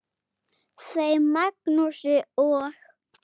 Þeim Magnúsi og